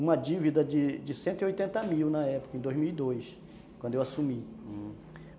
uma dívida de de cento e oitenta mil na época, em dois mil e dois, hum, quando eu assumi.